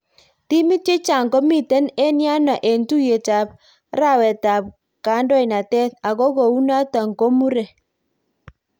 Timit chechaang komiten en yano en tuyet ap rwaet ap kandonatet, ago kou naton komure